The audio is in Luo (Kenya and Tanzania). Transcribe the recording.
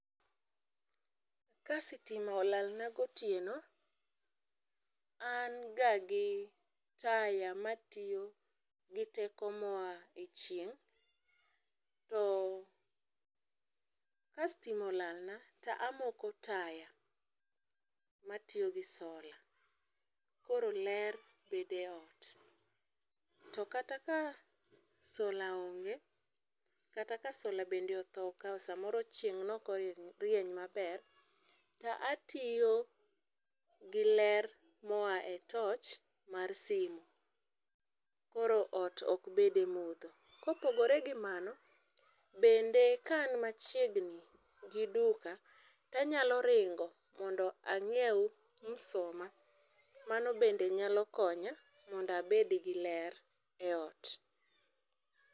Ka sitima olalna gotieno ,an ga gi taya matiyo gi teko moa e chieng',to ka stima olalna to amoko taya matiyo gi solar koro ler bede e ot to kata ka solar onge, kata ka solar bende otho, samoro chieng neok orieny maber to atiyo gi ler moa e torch mar simu, koro ot ok bed e mudho. Kopogore gi mano, bende ka an machiegni gi duka be anyalo ringo ma anyiew msuma, mano be nyalo koya mondo abed gi ler e ot